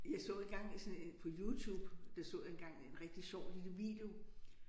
Jeg så engang sådan en på YouTube der så jeg engang en rigtig sjov lille video